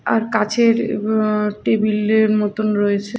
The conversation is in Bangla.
আর কাছের টেবিলের মতন রয়েছে।